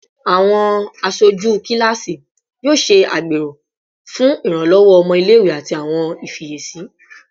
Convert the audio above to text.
Awọn aṣoju kilasi yoo ṣe agbero fun iranlọwọ ọmọ ile-iwe ati awọn ifiyesi